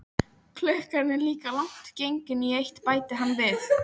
Klukkan er líka langt gengin í eitt, bætti hann við.